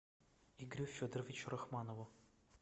игорю федоровичу рахмонову